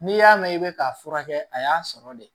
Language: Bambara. N'i y'a mɛn i bɛ k'a furakɛ a y'a sɔrɔ de